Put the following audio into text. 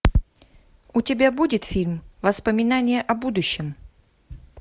у тебя будет фильм воспоминания о будущем